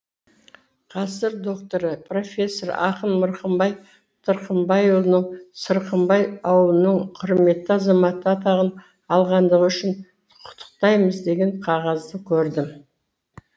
ғасыр докторы профессор ақын мырқымбай тырқымбайұлын сырқымбай ауылының құрметті азаматы атағын алғандығы үшін құттықтаймыз деген қағазды көрдім